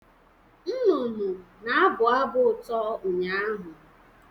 Nnụnụ na-abụ abụ ụtọ ụnyaahụ